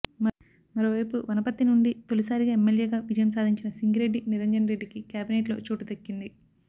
మరో వైపు వనపర్తి నుండి తొలిసారిగా ఎమ్మెల్యేగా విజయం సాధించిన సింగిరెడ్డి నిరంజన్ రెడ్డికి కేబినెట్ లో చోటు దక్కింది